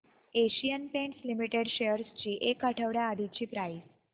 Asian Paints Limited shares ची एक आठवड्या आधीची प्राइस